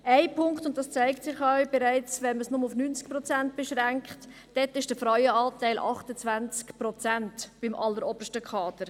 Ein Punkt betrifft den Frauenanteil, der, wie es sich auch mit einer Beschränkung auf 90 Prozent zeigt, beim allerobersten Kader 28 Prozent beträgt.